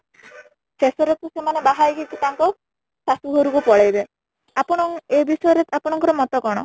ଶେଷରେ ତା ସେମାନେ ବାହା ହେଇକି ତାଙ୍କ ଶାଶୁ ଘରକୁ ପଳେଇବେ ଆପଣ ଏ ବିଷୟ ରେ ଆପଣ ଙ୍କ ମତ କଣ ?